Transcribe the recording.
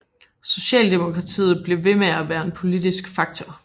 Socialdemokratiet blev ved med at være en politisk faktor